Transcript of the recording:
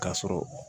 K'a sɔrɔ